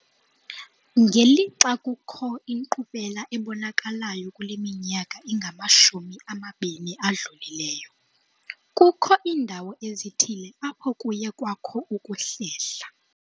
Ngelixa kukho inkqubela ebonakalayo kule minyaka ingamashumi amabini adlulileyo, kukho iindawo ezithile apho kuye kwakho ukuhlehla.